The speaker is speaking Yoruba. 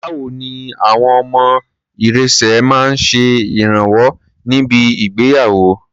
Báwo ni àwọn ọmọ irẹ̀sẹ̀ máa ń ṣe ìrànwọ́ ní bi ìgbéyàwó?